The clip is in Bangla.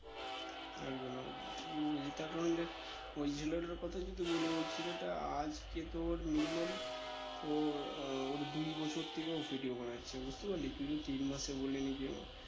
একদম একদম ঠিকই বলেছিস তার কারণ দেখ ওই ছেলেটার কথা যদি বলি ওই ছেলেটা আজকে তোর minimum তোর আহ ওর দুই বছর থেকে ও video বানাচ্ছে বুঝতে পারলি তুই তো তিন মাসে বললি নাকি আবার